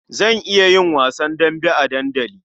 Zan iya yin wasan dambe a dandali.